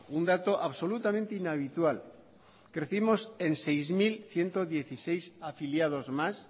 un dato absolutamente inhabitual crecimos en seis mil ciento dieciséis afiliados más